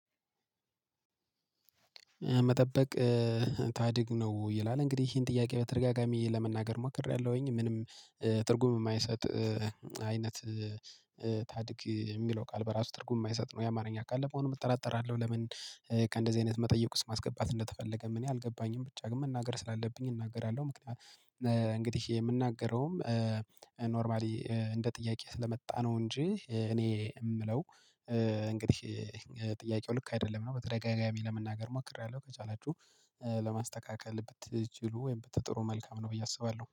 መጠበቅ ታድግ ነው ወይ ይላል እንግዲህ ይሄን ጥያቄ በተደጋጋሚ ለመናገር ሞክሬያለሁኝ ምንም ትርጉም የማይሰጥ አይነት። ታድግ የሚለው ቃል በራሱ ትርጉም የማይሰጥ ነው የአማርኛ ቃል ለመሆኑም እጠራጠራለሁ። ለምን ከእንደዚህ አይነት መጠየቅ ውስጥ ማስገባት እንደተፈለገም እኔ አልገባኝም። ብቻ ግን መናገር ስላለብኝ እናገራለሁ። ምክንያቱም እንግዲህ የምናገረውም ኖርማሊ እንደ ጥያቄ ስለመጣ ነው። እንጂ እኔ የምለው እንግዲህ ጥያቄው ልክ አይደለም ነው። በተደጋጋሚ ለመናገር ሞክሬያለሁ ከቻላችሁ ለማስተካከል ብትችሉ ወይም በትጥሩ መልካም ነው ብዬ አስባለሁ